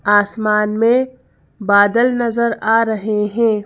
आसमान में बदल नजर आ रहे हैं।